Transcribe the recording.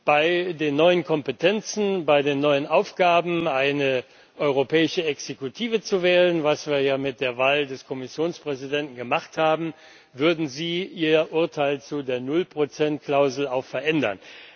Bei den neuen Kompetenzen, bei den neuen Aufgaben, eine europäische Exekutive zu wählen was wir ja mit der Wahl des Kommissionspräsidenten gemacht haben würden sie ihr Urteil zu der Null Prozent Klausel auch verändern.